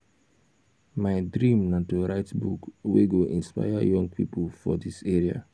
my dream na to write book wey go inspire young pipo for dis area.